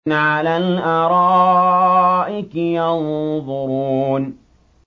عَلَى الْأَرَائِكِ يَنظُرُونَ